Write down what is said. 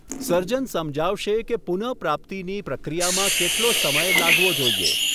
સર્જન સમજાવશે કે પુનઃપ્રાપ્તિની પ્રક્રિયામાં કેટલો સમય લાગવો જોઈએ.